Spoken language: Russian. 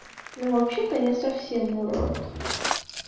ну вообще-то он не совсем урод